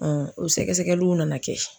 o sɛgɛsɛgɛliw nana kɛ.